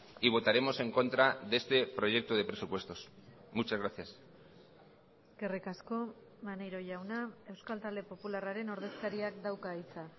y votaremos en contra de este proyecto de presupuestos muchas gracias eskerrik asko maneiro jauna euskal talde popularraren ordezkariak dauka hitza